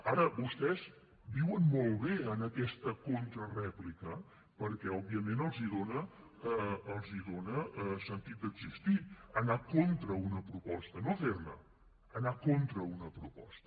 ara vostès viuen molt bé en aquesta contrarèplica perquè òbviament els dona sentit d’existir anar contra una proposta no fer ne anar contra una proposta